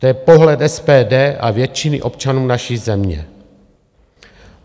To je pohled SPD a většiny občanů naší země.